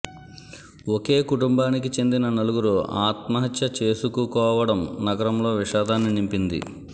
ఒకే కుటుంబానికి చెందిన నలుగురు ఆత్మహత్య చేసుకుకోవడం నగరంలో విషాదాన్ని నింపింది